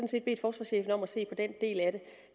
set bedt forsvarschefen om at se på den del af det